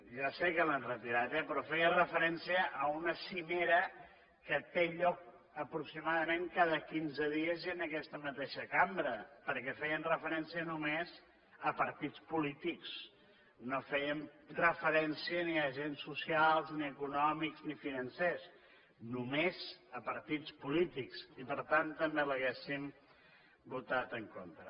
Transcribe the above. ja sé que l’han retirat eh però feia referència a una cimera que té lloc aproximadament cada quinze dies i en aquesta mateixa cambra perquè feien referència només a partits polítics no fèiem referència ni a agents socials ni econòmics ni financers només a partits polítics i per tant també hi hauríem votat en contra